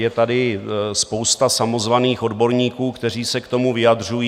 Je tady spousta samozvaných odborníků, kteří se k tomu vyjadřují.